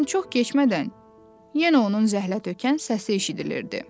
Lakin çox keçmədən yenə onun zəhlətökən səsi eşidilirdi.